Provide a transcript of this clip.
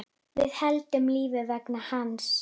Við héldum lífi vegna hans.